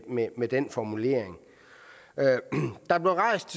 med med den formulering der blev rejst